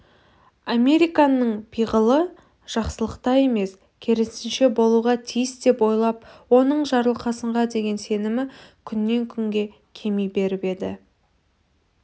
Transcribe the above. американның пиғылы жақсылықта емес керісінше болуға тиіс деп ойлап оның жарылқасынға деген сенімі күннен-күнге кеми беріп еді